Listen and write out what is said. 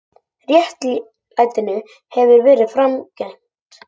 Réttlætinu hefur verið framgengt.